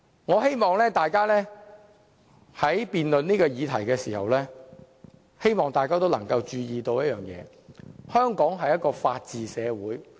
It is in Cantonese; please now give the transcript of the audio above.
我希望大家在就這項議案進行辯論時會注意一點，香港是法治社會。